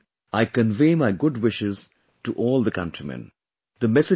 On this occasion, I convey my good wishes to all the countrymen